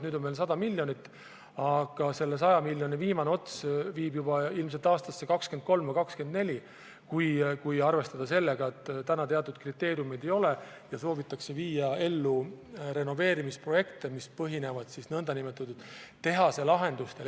Nüüd on meil 100 miljonit, aga selle 100 miljoni viimane ots viib juba aastasse 2023 või 2024, kui arvestada sellega, et täna teatud kriteeriume ei ole ja soovitakse viia ellu renoveerimisprojekte, mis põhinevad nn tehaselahendustel.